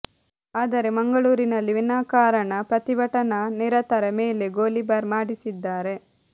ಆದರೆ ಮಂಗಳೂರಿನಲ್ಲಿ ವಿನಾಃ ಕಾರಣ ಪ್ರತಿಭಟನಾ ನಿರತರ ಮೇಲೆ ಗೋಲಿಬಾರ್ ಮಾಡಿಸಿದ್ದಾರೆ